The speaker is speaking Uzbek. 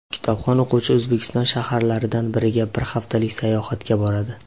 Kitobxon o‘quvchi O‘zbekiston shaharlaridan biriga bir haftalik sayohatga boradi.